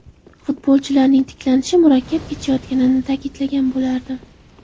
Futbolchilarning tiklanishi murakkab kechayotganini ta’kidlagan bo‘lardim.